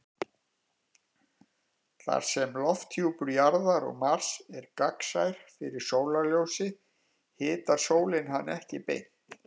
Þar sem lofthjúpur Jarðar og Mars er gagnsær fyrir sólarljósi hitar sólin hann ekki beint.